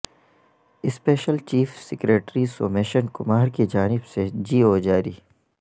special chief secretary Somesh Kumar کی جانب سے جی او جاری